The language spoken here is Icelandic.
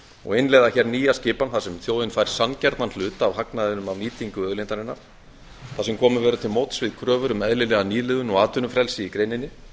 og innleiða hér nýja skipan þar sem þjóðin fær sanngjarnan hlut af hagnaðinum af nýtingu auðlindarinnar þar sem komið verður til móts við kröfur um eðlilega nýliðun og atvinnufrelsi í greininni